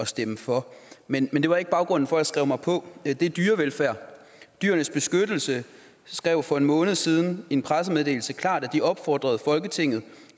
stemme for men det var ikke baggrunden for at jeg skrev mig på det er dyrevelfærd dyrenes beskyttelse skrev for en måned siden i en pressemeddelelse klart opfordrede folketinget